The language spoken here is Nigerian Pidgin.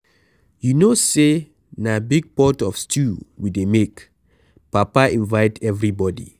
You no say na big pot of stew we dey make, papa invite everybody.